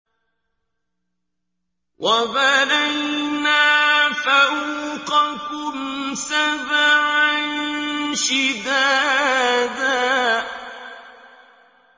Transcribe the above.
وَبَنَيْنَا فَوْقَكُمْ سَبْعًا شِدَادًا